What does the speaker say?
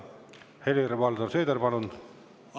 Helir-Valdor Seeder, palun!